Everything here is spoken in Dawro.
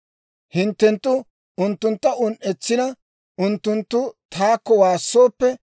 Hinttenttu unttuntta un"etsina, unttunttu taakko waassooppe,